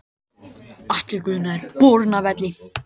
Atli Guðna er borinn af velli.